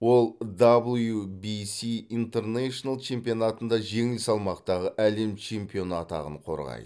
ол дабл ю би си интернзйшнл чемпионатында жеңіл салмақтағы әлем чемпионы атағын қорғайды